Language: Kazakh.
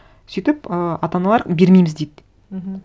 сөйтіп ы ата аналар бермейміз дейді мхм